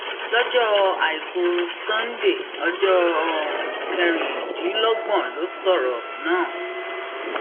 lọjọ àìkú sánńdé ọjọ um kẹrìndínlọgbọn ló sọrọ náà